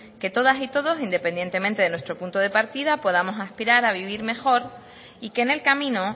que todas y todos independientemente de nuestro punto de partida podamos aspirar a vivir mejor y que en el camino